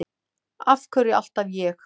Af hverju alltaf ég?